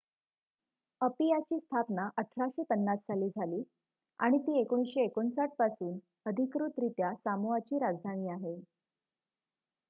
अपियाची स्थापना १८५० साली झाली आणि ती १९५९ पासून अधिकृतरित्या सामोआची राजधानी आहे